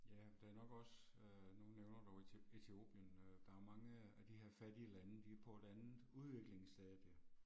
Ja, der er nok også, øh nu nævner du Etiopien øh, der er mange af de her fattige lande de er på et andet udviklingsstadie